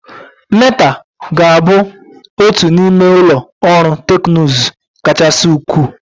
Meta ga-abụ otu n'ime ụlọ ọrụ teknụzụ kachasị ukwuu.